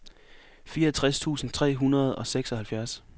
fireogtres tusind tre hundrede og seksoghalvfjerds